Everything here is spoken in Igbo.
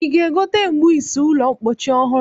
Ị ga-egote mgbaisi ụlọmpochi ọhụrụ?